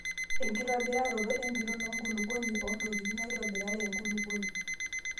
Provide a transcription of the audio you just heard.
Enkitobiraroto empiron enkulukuoni oontokitin naitobirare enkulukuoni.